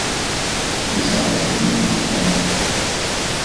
Pisava Cirila in Metoda.